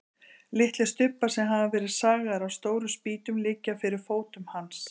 Litlir stubbar sem hafa verið sagaðir af stórum spýtum liggja fyrir fótum hans.